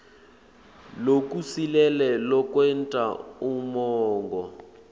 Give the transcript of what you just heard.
lokusilele lokwenta umongo